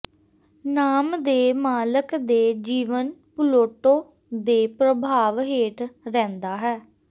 ਨਾਮ ਦੇ ਮਾਲਕ ਦੇ ਜੀਵਨ ਪਲੂਟੋ ਦੇ ਪ੍ਰਭਾਵ ਹੇਠ ਰਹਿੰਦਾ ਹੈ